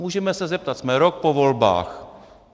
Můžeme se zeptat, jsme rok po volbách: